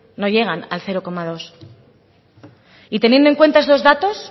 no llegan al cero coma dos y teniendo en cuenta esos datos